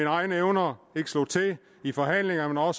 egne evner ikke slog til i forhandlingerne og